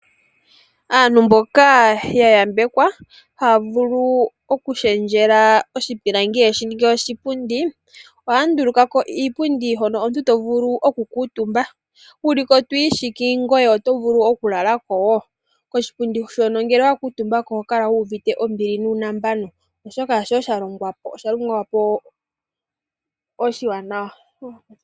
Aantu mboka ya yambekwa haa vulu okulundulula oshipilangi yeshi ninge oshipundi, ohaa nduluka po iipundi hoka omuntu to vulu oku kuutumba. Wu liko to ishiki, ngoye oto vulu oku lala ko wo. Koshipundi shoka ngele owa kuutumba ko oho kala wuuvite ombili nuunambano, oshoka osha longwa oshiwanawa.